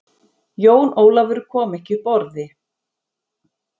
Jón Ólafur kom ekki upp orði.